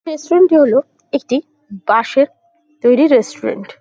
রেস্টুরেন্টটি হলো একটি বাঁশের তৈরি রেস্টুরেন্ট ।